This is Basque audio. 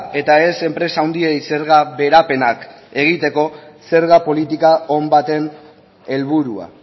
eta ez enpresa handiei zerga beherapenak egiteko zerga politika on baten helburua